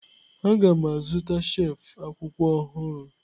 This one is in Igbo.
Aga m azụta shelf akwụkwọ ọhụrụ.